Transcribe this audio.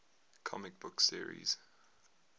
comic book series